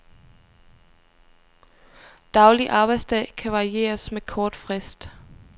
Daglig arbejdsdag kan varieres med kort frist.